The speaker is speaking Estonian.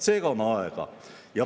Seega on aega.